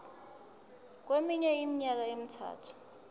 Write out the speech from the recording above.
kweminye iminyaka emithathu